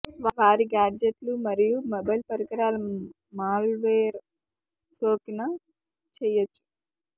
వారి గాడ్జెట్లు మరియు మొబైల్ పరికరాల మాల్వేర్ సోకిన చేయవచ్చు